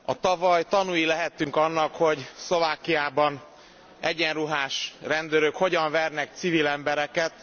Tavaly tanúi lehettünk annak, hogy Szlovákiában egyenruhás rendőrök hogyan vernek civil embereket.